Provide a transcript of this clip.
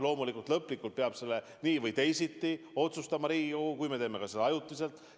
Loomulikult, lõplikult peab selle nii või teisiti otsustama Riigikogu, isegi kui me teeme seda ajutiselt.